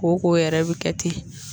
Ko ko yɛrɛ bɛ kɛ ten